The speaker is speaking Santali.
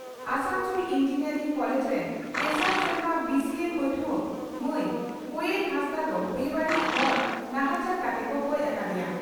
ᱟᱥᱟᱱᱥᱚᱞ ᱤᱸᱡᱤᱱᱤᱭᱟᱨᱤᱝ ᱠᱚᱞᱮᱡᱽ ᱨᱮᱱ ᱛᱮᱥᱟᱨ ᱥᱮᱨᱢᱟ ᱵᱤᱹᱥᱤᱹᱤᱹ ᱯᱟᱹᱴᱷᱩᱣᱟᱹ ᱢᱟᱹᱭ ᱠᱚᱭᱮᱞ ᱦᱟᱸᱥᱫᱟᱜ ᱫᱚ ᱵᱮᱼᱵᱟᱹᱲᱤᱡ ᱦᱚᱲ ᱱᱟᱦᱟᱪᱟᱨ ᱠᱟᱛᱮ ᱠᱚ ᱜᱚᱡ ᱟᱠᱟᱫᱮᱭᱟ ᱾